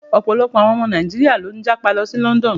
Ọ̀pọ̀lọpọ̀ àwọn ọmọ Nàíjíríà ló ń jápa lọ sí London.